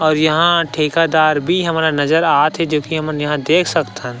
और यहाँ ठेकेदार भी हमन ला नज़र आथे जो की हमन यहाँ देख सकथन।